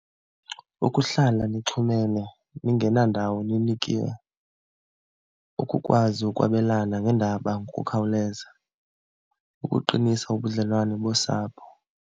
Ukuhlala nithumene ningenandawo ninikiwe, ukukwazi ukwabelana ngeendaba ngokukhawuleza, ukuqinisa ubudlelwane bosapho.